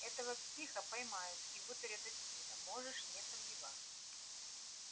этого психа поймают и вытурят отсюда можешь не сомневаться